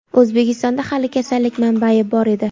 O‘zbekistonda hali kasallik manbai bor edi.